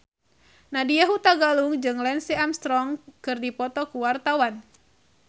Nadya Hutagalung jeung Lance Armstrong keur dipoto ku wartawan